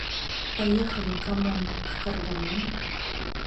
поехали камон в кардамон